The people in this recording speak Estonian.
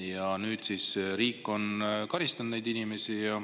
Ja nüüd siis riik karistab neid inimesi.